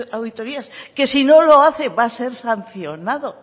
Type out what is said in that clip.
auditorías que si no lo hace va a ser sancionado